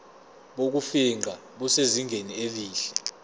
bokufingqa busezingeni elihle